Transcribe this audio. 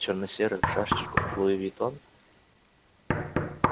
черносерый в шашечку луивуитон